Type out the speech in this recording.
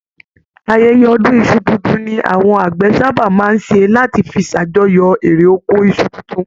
Ayẹyẹ ọdun iṣu tuntun ní àwọn àgbẹ sábà máa ṣé láti fí s'ajọ̀yọ eré oko Isu títún.